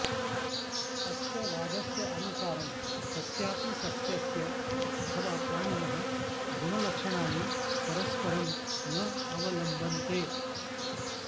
अस्य वादस्य अनुसारं कस्यापि सस्यस्य अथवा प्राणिनः गुणलक्षणानि परस्परं न अवलम्बन्ते